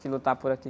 que lutar por aqui.